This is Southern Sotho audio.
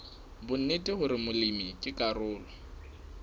bonnete hore molemi ke karolo